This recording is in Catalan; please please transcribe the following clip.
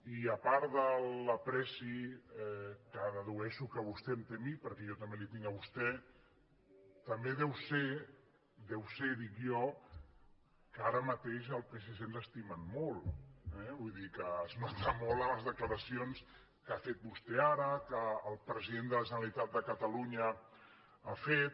i a part de l’estima que dedueixo que vostè em té a mi perquè jo també li tinc a vostè també deu ser deu ser ho dic jo que ara mateix el psc ens estimen molt eh vull dir que es nota molt en les declaracions que ha fet vostè ara que el president de la generalitat de catalunya ha fet